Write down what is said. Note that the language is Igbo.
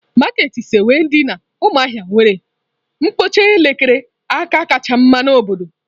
Maketị sekwe dị na umuahia nwere mkpokọta elekere aka kacha mma n'obodo